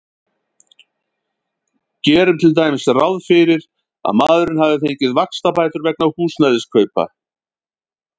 Gerum til dæmis ráð fyrir að maðurinn hafi fengið vaxtabætur vegna húsnæðiskaupa.